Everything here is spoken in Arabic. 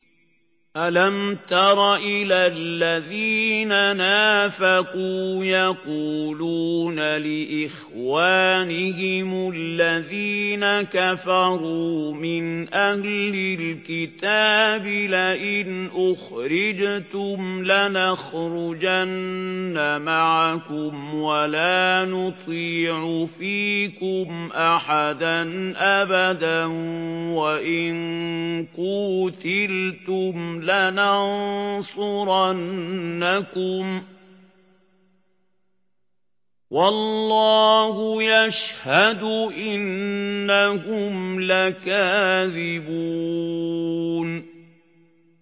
۞ أَلَمْ تَرَ إِلَى الَّذِينَ نَافَقُوا يَقُولُونَ لِإِخْوَانِهِمُ الَّذِينَ كَفَرُوا مِنْ أَهْلِ الْكِتَابِ لَئِنْ أُخْرِجْتُمْ لَنَخْرُجَنَّ مَعَكُمْ وَلَا نُطِيعُ فِيكُمْ أَحَدًا أَبَدًا وَإِن قُوتِلْتُمْ لَنَنصُرَنَّكُمْ وَاللَّهُ يَشْهَدُ إِنَّهُمْ لَكَاذِبُونَ